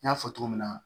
N y'a fɔ cogo min na